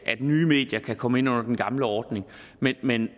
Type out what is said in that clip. nye medier kan komme ind under den gamle ordning men men